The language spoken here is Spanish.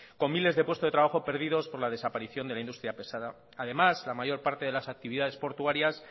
con miles de puestos de trabajo perdidos por la desaparición de la industria pesada además la mayor parte de las actividades portuarias